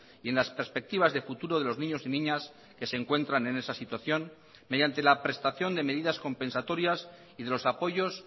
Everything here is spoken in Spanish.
y en las perspectivas de futuro de los niños y niñas que se encuentran en esa situación mediante la prestación de medidas compensatorias y de los apoyos